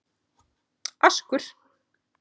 Askur